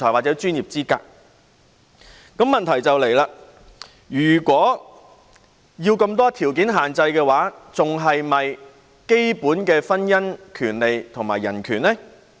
那麼問題便出現了：如此設有眾多條件限制的話，這樣還是否符合基本的婚姻權利及人權呢？